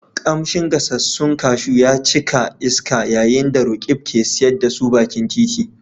Kamshin gasassun kashu ya cika iska yayin da Roqeeb ke siyar da su bakin titi.